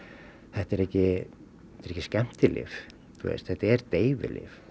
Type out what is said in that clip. þetta er ekki skemmtilyf þetta er deyfilyf